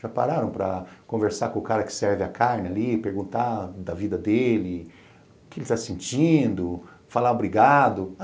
Já pararam para conversar com o cara que serve a carne ali, perguntar da vida dele, o que ele está sentindo, falar obrigado?